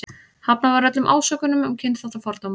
Hafnað var öllum ásökunum um kynþáttafordóma.